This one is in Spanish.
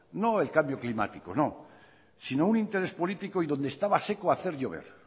no el cambio climático sino un interés político y donde estaba seco hacer llover